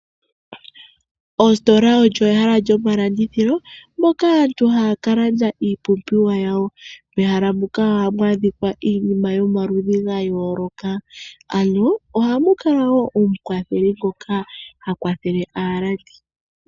Ositola olyo ehala lyomalandithilo moka aantu haya ka landa iipumbiwa yawo mehala muka ohamu adhika iinima yomaludhi ga yooloka ano ohamu kala wo omukwatheli ngoka ha kwathele aalandi.